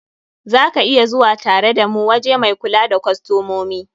Za ka iya zuwa tare da mu waje mai kula da kostomomi.